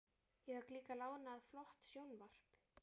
Ég fékk líka lánað flott sjónvarp.